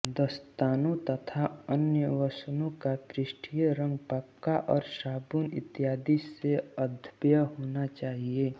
दस्तानों तथा अन्य वसनों का पृष्ठीय रंग पक्का और साबुन इत्यादि से अधाव्य होना चाहिए